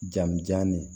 Jaa m jan ne